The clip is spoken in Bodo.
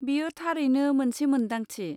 बेयो थारैनो मोनसे मोन्दांथि।